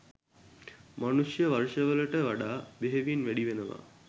මනුෂ්‍ය වර්ෂවලට වඩා බෙහෙවින් වැඩිවෙනවා.